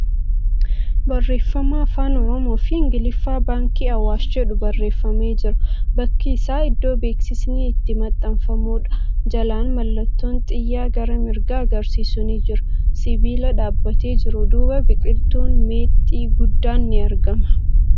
Barreefama Afaan Oromoo fi Ingiliffaan 'Baankii Awwaash ' jedhu barreefamee jira. Bakki isaa iddoo beeksisni itti maxxanfamuudha. Jalaan mallattoon xiyyaa gara mirgaa agarsiisu ni jira. Sibiila dhaabbatee jiru duuba biqiltuun meexxii guddaan ni argama.